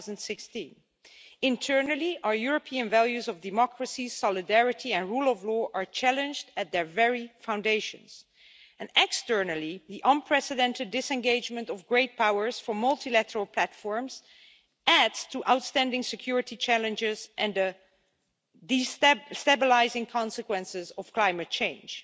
2016. Internally, our European values of democracy, solidarity and rule of law are challenged at their very foundations, and externally the unprecedented disengagement of great powers from multilateral platforms adds to outstanding security challenges and the destabilising consequences of climate change.